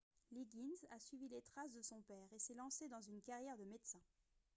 liggins a suivi les traces de son père et s'est lancé dans une carrière de médecin